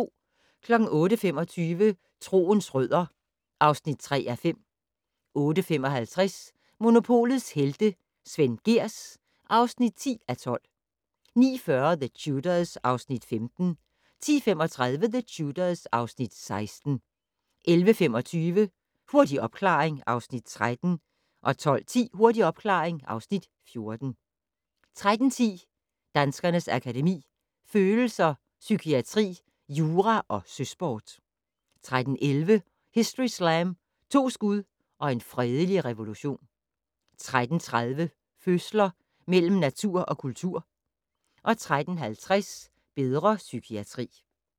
08:25: Troens rødder (3:5) 08:55: Monopolets Helte - Svend Gehrs (10:12) 09:40: The Tudors (Afs. 15) 10:35: The Tudors (Afs. 16) 11:25: Hurtig opklaring (Afs. 13) 12:10: Hurtig opklaring (Afs. 14) 13:10: Danskernes Akademi: Følelser, Psykiatri, Jura & Søsport 13:11: Historyslam - To skud og en fredelig revolution 13:30: Følelser mellem natur og kultur 13:50: Bedre psykiatri